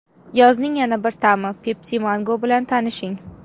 Yozning yana bir ta’mi Pepsi Mango bilan tanishing!.